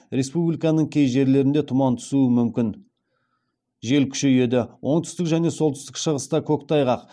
республиканың кей жерлерінде тұман түсуі мүмкін жел күшейеді оңтүстік және солтүстік шығыста көктайғақ